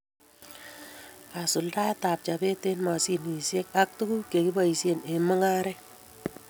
Kasuldaetab chopet eng mashinishiek ak tukuk che kiboishie eng mungaret